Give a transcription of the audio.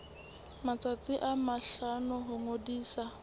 matsatsi a mahlano ho ngodisa